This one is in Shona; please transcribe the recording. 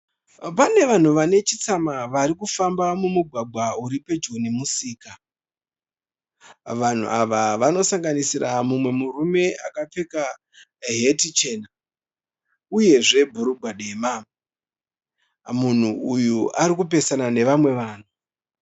Panevanhu vanechitsama varikufamba mumugwagwa uripedyo nemusika. Vanhu ava vanosanganisira mumwe murume akapfeka heti chena, uyezve bhurugwa dema. Munhu uyu arikupesana nevamwe vanhu.